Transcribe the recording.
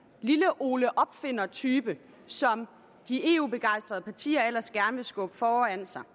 lille ole opfinder type som de eu begejstrede partier ellers gerne vil skubbe foran sig